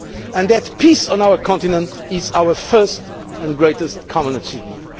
and why peace on our continent is our first and greatest common achievement.